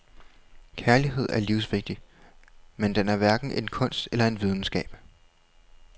Kærlighed er livsvigtig, men den er hverken en kunst eller en videnskab.